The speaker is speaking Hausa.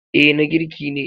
Eh na girki ne.